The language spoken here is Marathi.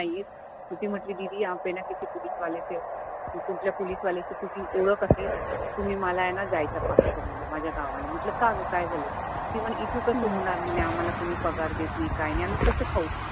त ते म्हंटले दीदी यहाँ पे ना किसी पुलीसवाले से, कि कुठल्या पोलिसवाल्याशी तुमची ओळख असेल, तुम्ही मला आहे ना जायचा पास करून द्या माझ्या गांवला, म्हंटल काय गं काय झालं ते म्हणे इथं कस होनार म्हणे आम्हाला कोणी पगार देत नाही, काही नाही आम्ही कसं खाऊ